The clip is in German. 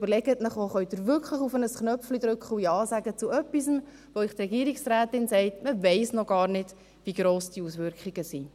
Überlegen Sie sich, ob Sie wirklich auf das Knöpfchen drücken und zu etwas Ja sagen können, zu dem die Regierungsrätin sagt, dass man noch gar nicht wisse, wie gross die Auswirkungen sind.